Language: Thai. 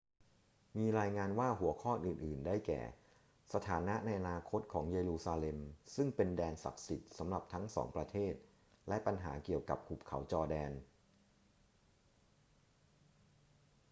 มีรายงานว่าหัวข้ออื่น ๆ ได้แก่ สถานะในอนาคตของเยรูซาเล็มซึ่งเป็นแดนศักดิ์สิทธิ์สำหรับทั้งสองประเทศและปัญหาเกี่ยวกับหุบเขาจอร์แดน